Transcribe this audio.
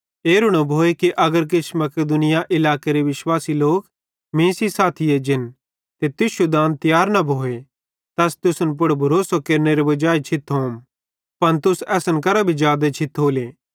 एरू न भोए कि अगर किछ मकिदुनया इलाकेरे विश्वासी लोक मीं सेइं साथी एज्जन ते तुश्शू दान तियार न भोए त अस तुसन पुड़ भरोसेरे केरनेरे वजाई छिथोम पन तुस असन करां भी जादे छिथोले